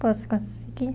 Posso conseguir.